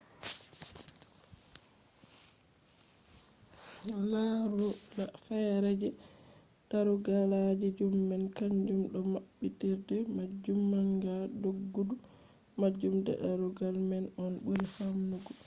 larula feere je darugalji zoom man kanjum do maɓɓitirde majum manga doggudu majum je darugal man on ɓuri famdugo